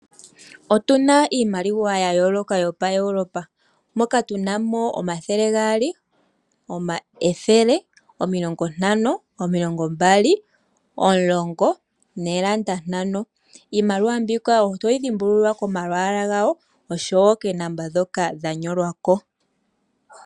Otuna iimaliwa ya yooloka yopaEuropa, moka tuna mo omathele gaali, ethele, omilongo ntano, omilongo mbali, omulongo noolanda ntano. Iimaliwa mbika otoyi dhimbulula komalwaala gayo oshowo koonomola dhoka dha nyolwa ko.